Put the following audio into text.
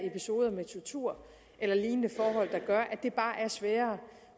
episoder med tortur eller lignende forhold der gør at det bare er sværere